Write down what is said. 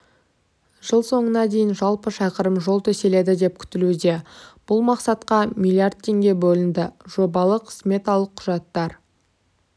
жыл соңына дейін жалпы шақырым жол төселеді деп күтілуде бұл мақсатқа миллиард теңге бөлінді жобалық-сметалық құжаттар